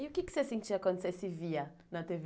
E o que você sentia quando você se via na tê vê?